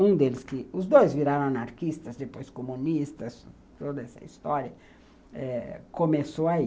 Um deles, os dois viraram anarquistas, depois comunistas, toda essa história começou aí.